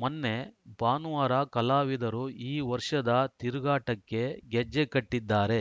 ಮೊನ್ನೆ ಭಾನುವಾರ ಕಲಾವಿದರು ಈ ವರ್ಷದ ತಿರುಗಾಟಕ್ಕೆ ಗೆಜ್ಜೆಕಟ್ಟಿದ್ದಾರೆ